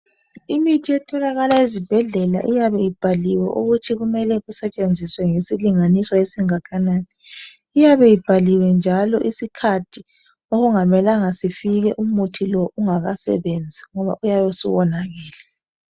Imithi etholakala ezibhedlela iyabe ibhaliwe ukuthi kumele kusetshenziswe ngesilinganiso esingakanani. Iyabe ibhaliwe njalo isikhathi okungamelanga sifike umuthi lo ungakasebenzi ngoba uyabe usuwonakele